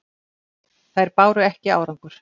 Þær báru ekki árangur.